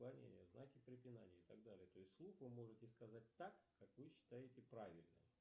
знаки препинания и так далее то есть вслух вы можете сказать так как вы считаете правильным